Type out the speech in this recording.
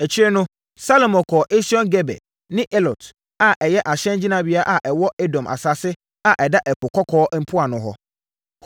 Akyire no, Salomo kɔɔ Esion-Geber ne Elot a ɛyɛ ahyɛngyinabea a ɛwɔ Edom asase a ɛda Ɛpo Kɔkɔɔ mpoano hɔ.